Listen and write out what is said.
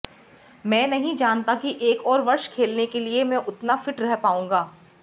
मैं नहीं जानता कि एक और वर्ष खेलने के लिए मैं उतना फिट रह पाऊंगा